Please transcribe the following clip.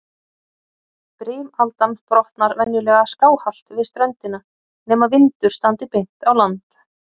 Brimaldan brotnar venjulega skáhallt við ströndina, nema vindur standi beint á land.